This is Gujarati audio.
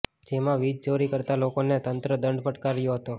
જેમાં વિજ ચોરી કરતા લોકોને તંત્ર દંડ ફટકારયો હતો